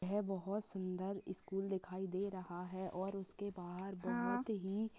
ये बहुत सुन्दर स्कूल दिखाई दे रहा है और उसके बाहर बहुत ही--